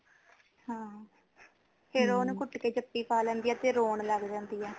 ਹਾਂ ਫੇਰ ਓਨੁ ਕੁੱਟ ਕੇ ਜਫੀ ਪਾ ਲੈਂਦੀ ਹੈ ਰੋਣ ਲੱਗ ਜਾਂਦੀ ਹੈ